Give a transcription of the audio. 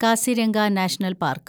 Kaziranga national park